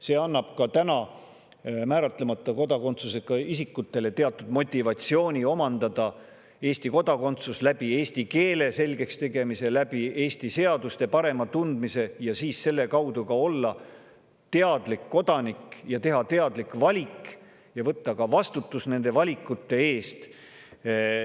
See annab ka määratlemata kodakondsusega isikutele teatud motivatsiooni omandada Eesti kodakondsus, tehes endale selgeks eesti keele, paremini tundma Eesti seadusi ja olles selle kaudu teadlik kodanik, et teha teadlikke valikuid ja võtta vastutus nende valikute eest.